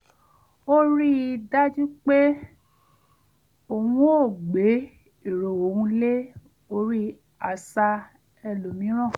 ó rí i dájú pé òun ò gbé èrò òun lé orí àṣà ẹlòmíràn